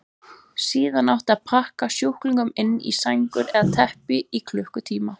Síðan átti að pakka sjúklingunum inn í sængur eða teppi í klukkutíma.